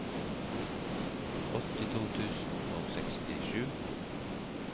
åttito tusen og sekstisju